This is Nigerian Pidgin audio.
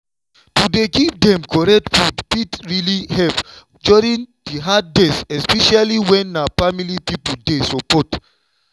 to dey give dem correct food fit really help during the hard days especially when na family people dey support.